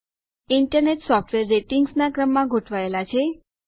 internet software ratings ના ક્રમમાં ગોઠવાયેલ છે